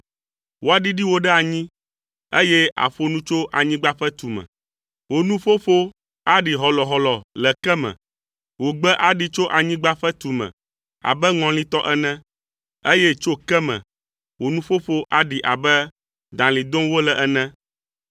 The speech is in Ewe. Woaɖiɖi wò ɖe anyi, eye àƒo nu tso anyigba ƒe tume. Wò nuƒoƒo aɖi hɔlɔhɔlɔ le ke me. Wò gbe aɖi tso anyigba ƒe tume abe ŋɔli tɔ ene, eye tso ke me, wò nuƒoƒo aɖi abe dalĩ dom wole ene.